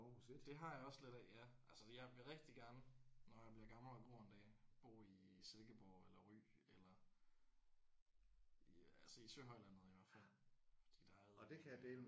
Det har jeg også lidt af ja altså jeg vil rigtig gerne når jeg bliver gammel og grå en dag bo i Silkeborg eller Ry eller i altså i Søhøjlandet i hvert fald for der er eddermaneme